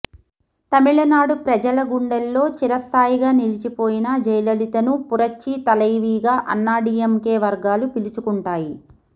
తమిళనాడు ప్రజల గుండెల్లో చిరస్థాయిగా నిలిచిపోయిన జయలలితను పురచ్చి తలైవీగా అన్నాడీఎంకే వర్గాలు పిలుచుకుంటాయి